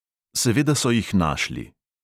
Seveda so jih našli.